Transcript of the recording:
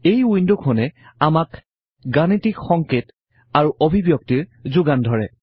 এই উইন্ডখনে আমাক বিভিন্ন গাণিতিক সংকেত আৰু অভিব্যক্তিৰ যোগান ধৰে